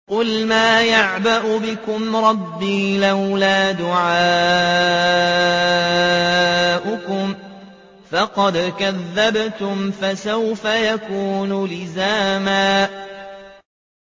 قُلْ مَا يَعْبَأُ بِكُمْ رَبِّي لَوْلَا دُعَاؤُكُمْ ۖ فَقَدْ كَذَّبْتُمْ فَسَوْفَ يَكُونُ لِزَامًا